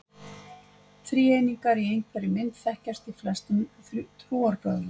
Þríeiningar í einhverri mynd þekkjast í flestum trúarbrögðum.